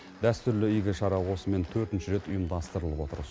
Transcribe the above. дәстүрлі игі шара осымен төртінші рет ұйымдастырылып отыр